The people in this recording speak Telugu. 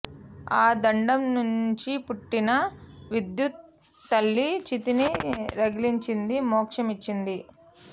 ఆ దండం నుంచి పుట్టిన విద్యుత్తు తల్లి చితిని రగిలించి మోక్షమిచ్చింది